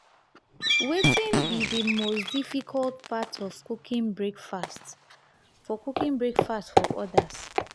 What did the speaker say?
wetin be di most difficult part of cooking breakfast for cooking breakfast for odas?